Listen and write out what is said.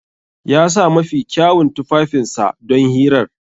Ya sa mafi kyawun tufafinsa don hirar.